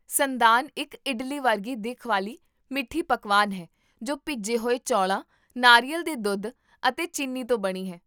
ਸੰਦਾਨ ਇੱਕ ਇਡਲੀ ਵਰਗੀ ਦਿੱਖ ਵਾਲੀ ਮਿੱਠੀ ਪਕਵਾਨ ਹੈ ਜੋ ਭਿੱਜੇ ਹੋਏ ਚੌਲਾਂ, ਨਾਰੀਅਲ ਦੇ ਦੁੱਧ ਅਤੇ ਚੀਨੀ ਤੋਂ ਬਣੀ ਹੈ